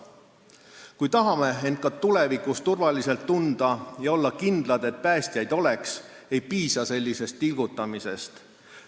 Kui tahame end ka tulevikus turvaliselt tunda ja olla kindlad, et päästjaid oleks, ei piisa sellisest tilgutamisest.